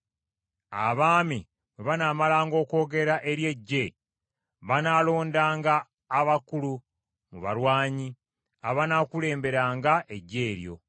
Abaami bwe banaamalanga okwogera eri eggye, banaalondanga abakulu mu balwanyi abanaakulemberanga eggye eryo.